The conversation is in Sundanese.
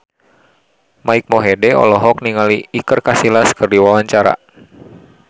Mike Mohede olohok ningali Iker Casillas keur diwawancara